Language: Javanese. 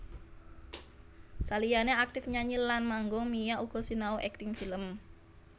Saliyané aktif nyanyi lan manggung Mia uga sinau akting film